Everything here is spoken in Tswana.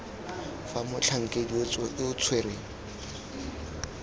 fa motlhankedi yo o tshwereng